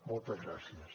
moltes gràcies